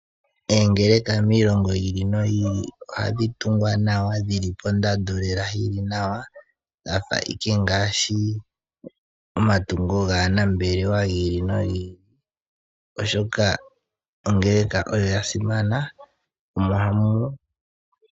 Oongeleka miilongo yi ili noyi ili ohadhi tungwa nawa lela dhili pondando lela yili nawa dhafa ike ngaashi omatungo gaanambelelwa gi ili nogi ili, oshoka ongeleka oyo ya simana.